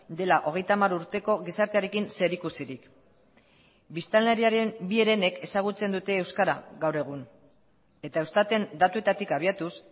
dela hogeita hamar urteko gizartearekin zerikusirik biztanleriaren bi herenek ezagutzen dute euskara gaur egun eta eustaten datuetatik abiatuz